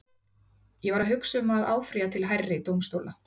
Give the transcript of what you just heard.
Ég er að hugsa um að áfrýja til hærri dómstóla.